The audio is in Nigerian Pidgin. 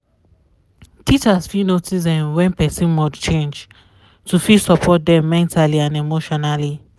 teachers fit notice um wen person mod change to fit support dem mentally and emotionally